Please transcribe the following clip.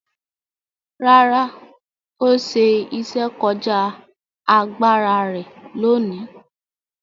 Rárá, ó ṣe iṣẹ́ kọjá agbára rẹ̀ lóòní?